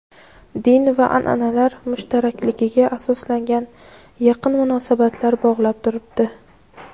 din va an’analar mushtarakligiga asoslangan yaqin munosabatlar bog‘lab turibdi.